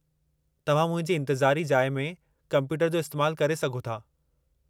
तव्हां मुंहिंजी इंतिज़ारी जाइ में कम्पयूटर जो इस्तैमालु करे सघो था।